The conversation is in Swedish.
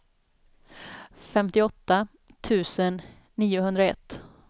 femtioåtta tusen niohundraett